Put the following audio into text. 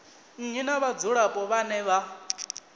nnyi na vhadzulapo vhane vha